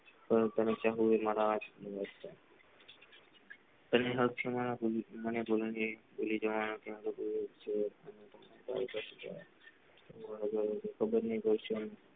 પણ તને ક્યાં હૂંડી મારા ભૂલી જવાનો ક્યાં હુઈ ખબર નહિ